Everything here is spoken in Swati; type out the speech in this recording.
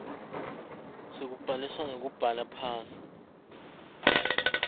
sekubhaliswa ngekubhala phansi